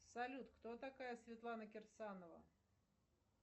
салют кто такая светлана кирсанова